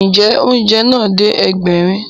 Ǹjẹ́, oúnjẹ náà dé Ẹgbẹ̀rin